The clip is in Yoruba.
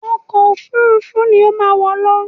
Ọkọ òfurufú ni ó má wọ̀ lọ!